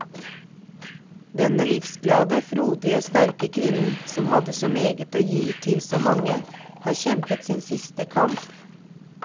Denne livsglade, frodige, sterke kvinnen som hadde så meget å gi til så mange, har kjempet sin siste kamp.